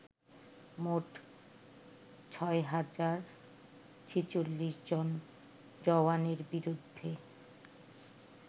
মোট ৬০৪৬ জন জওয়ানের বিরুদ্ধে